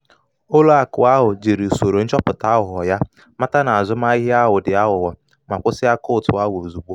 ụlọ akụ ahụ jiri usoro nchọpụta aghụghọ ya mata na azụmahịa ahụ di aghugho ma kwụsị akaụntụ ahụ ozugbo.